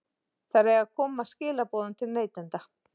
Þær eiga að koma skilaboðum til neytenda.